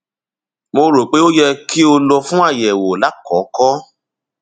mo rò pé ó yẹ kí o lọ fún àyẹwò lákọọkọ